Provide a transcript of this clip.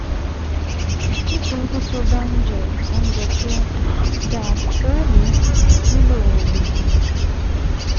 Nítorí pé tó o bá ń jẹ oúnjẹ tó dáa, o ò ní nílò oògùn